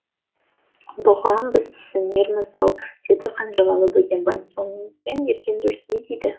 бұған біз түсінерміз ау деді қанжығалы бөгенбай соңымызбен ерген жұрт не дейді